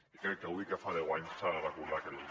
i crec que avui que en fa deu anys s’ha de recordar aquella